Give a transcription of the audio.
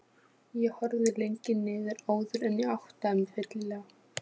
Ég horfði lengi niður áður en ég áttaði mig fyllilega.